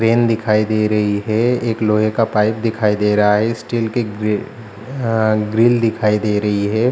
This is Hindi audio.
दिखाई दे रही है एक लोहे का पाइप दिखाई दे रहा है स्टील के ग्री अ ग्रिल दिखाई दे रही है।